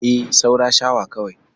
E, saura shawa kawai.